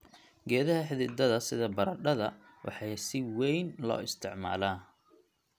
Geedaha xididada sida baradhada waxaa si weyn loo isticmaalaa.